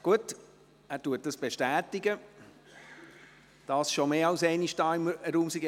Gut, er bestätigt dies, und dies schon mehr als einmal hier im Raum.